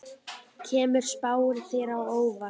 Kemur spáin þér á óvart?